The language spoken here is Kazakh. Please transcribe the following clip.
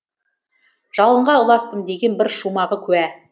жалынға ұластым деген бір шумағы куә